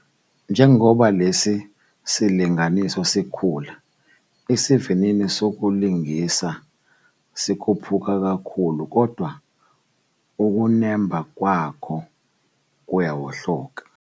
Njengoba lesi silinganiso sikhula, isivinini sokulingisa sikhuphuka kakhulu kodwa ukunemba kwakho kuyawohloka.